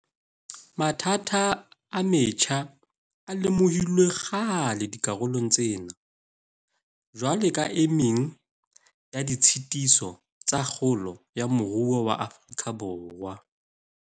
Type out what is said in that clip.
Mathata a metjha a lemohilwe kgale dikarolong tsena jwalo ka e meng ya ditshitiso tsa kgolo ya moruo wa Afrika Borwa.